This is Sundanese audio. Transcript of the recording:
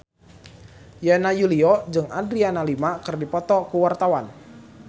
Yana Julio jeung Adriana Lima keur dipoto ku wartawan